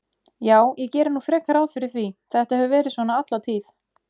Já, ég geri nú frekar ráð fyrir því, þetta hefur verið svona alla tíð.